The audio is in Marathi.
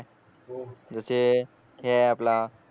जसे हे आहे आपला